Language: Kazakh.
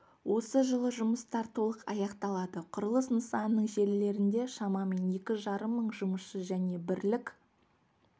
осы жылы жұмыстар толық аяқталады құрылыс нысанының желілерінде шамамен екі жарым мың жұмысшы және бірлік